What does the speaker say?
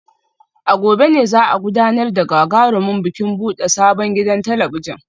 A gobe ne za a gudanar da gagarumin bikin bude sabon gidan talabijin